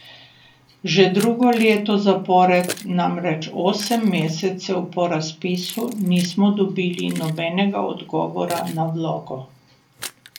Že drugo leto zapored namreč osem mesecev po razpisu nismo dobili nobenega odgovora na vlogo.